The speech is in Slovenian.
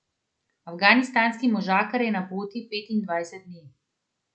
Afganistanski možakar je na poti petindvajset dni.